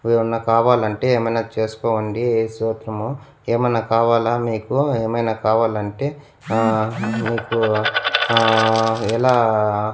ఓ ఎమన్నా కావాలంటే ఏమైనా చేసుకోండి యే స్తోత్రము ఏమైనా కావాలా మీకు ఏమైనా కావాలంటే ఆహ్ మీకు ఆహ్ ఎలా --